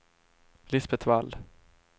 Lisbeth Wall